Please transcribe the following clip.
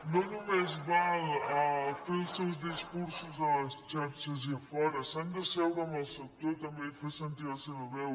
no només val fer els seus discursos a les xarxes i a fora s’han d’asseure amb el sector també i fer sentir la seva veu